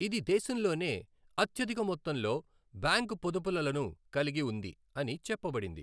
ఇది దేశంలోనే అత్యధిక మొత్తంలో బ్యాంకు పొదుపులలను కలిగి ఉంది అని చెప్పబడింది.